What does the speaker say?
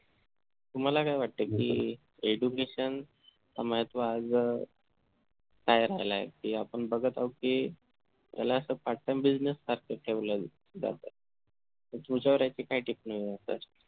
तुम्हाला काय वाटते की education च महत्व आज अह काय राहिलं आहे कि आपण बघत आहोत कि त्याला असं part time business सारखं ठेवला जात